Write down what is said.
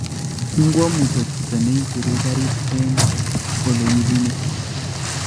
Ngowo Mutyo chito neikwerie garit eng olegibunei